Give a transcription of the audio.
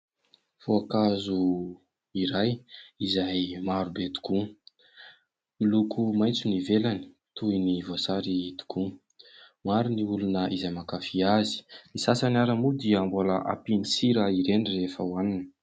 Voankazo iray izay marobe tokoa. Miloko maitso ny ivelany toy ny voasary tokoa. Maro ny olona izay mankafia azy, ny sasany ara moa dia mbola hampiany sira ireny rehefa hoaniny.